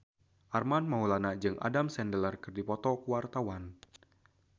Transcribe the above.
Armand Maulana jeung Adam Sandler keur dipoto ku wartawan